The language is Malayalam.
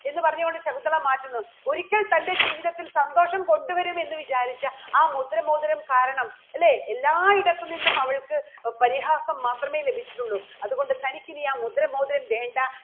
എന്ന് പറഞ്ഞുകൊണ്ട് ശകുന്തള മാറ്റുന്നു. ഒരിക്കൽ തന്റെ ജീവിതത്തിൽ സന്തോഷം കൊണ്ടുവരും എന്ന് വിചാരിച്ച ആ മുദ്ര മോതിരം കാരണം അല്ലേ? എല്ലായിടത്തുനിന്നും അവൾക്ക് പരിഹാസം മാത്രമേ ലഭിച്ചിട്ടുള്ളൂ അതുകൊണ്ട് തനിക്കിനി ആ മുദ്ര മോതിരം വേണ്ട